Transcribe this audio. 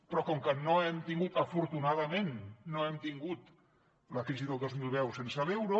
però com que no hem tingut afortunadament la crisi del dos mil deu sense l’euro